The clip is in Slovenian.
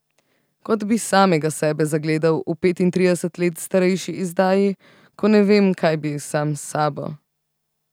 Kot bi samega sebe zagledal v petintrideset let starejši izdaji, ko ne vem, kaj bi sam s sabo.